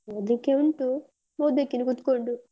ಓದ್ಲಿಕ್ಕೆ ಉಂಟು ಓದ್ಬೇಕಿನ್ನು ಕುತ್ಕೊಂಡು.